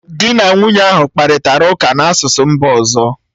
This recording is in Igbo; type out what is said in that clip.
Di na nwunye ahụ kparịtara ụka n’asụsụ mba ọzọ